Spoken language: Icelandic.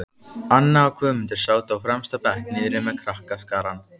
Anna og Guðmundur sátu á fremsta bekk niðri með krakkaskarann.